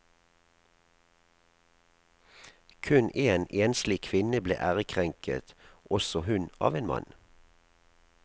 Kun en enslig kvinne ble ærekrenket, også hun av en mann.